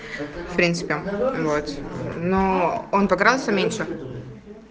в принципе вот но он как раз меньше